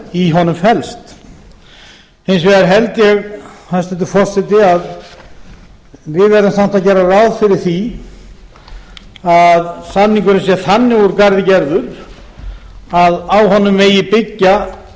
í honum felst hins vegar held ég hæstvirtur forseti að við verðum að gera ráð fyrir því að samningurinn sé þannig úr garði gerður að á honum megi byggja